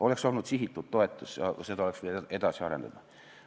Oleks olnud sihitud toetus, seda oleks võinud edasi arendada.